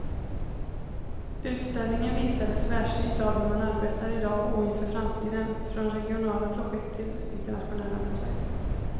Utställningen visar ett tvärsnitt av hur man arbetar i dag och inför framtiden, från regionala projekt till internationella nätverk.